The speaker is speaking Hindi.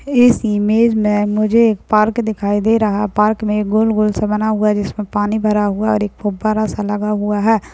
इस इमेज मे मुझे एक पार्क दिखाई दे रहा है पार्क मे गोल-गोल से बना हुआ है जिसमे पानी भरा हुआ है और एक फुवारा सा लगा हुआ है।